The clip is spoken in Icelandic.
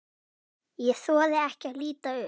Ég þori ekki að líta upp.